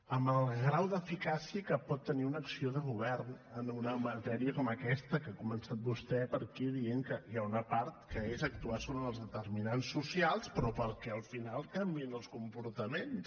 amb el grau d’eficàcia que pot tenir una acció de govern en una matèria com aquesta que ha començat vostè per aquí dient que hi ha una part que és actuar sobre els determinants socials però perquè al final canviïn els comportaments